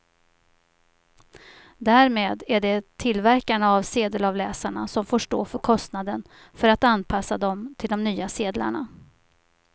Därmed är det tillverkarna av sedelavläsarna som får stå för kostnaden för att anpassa dem till de nya sedlarna.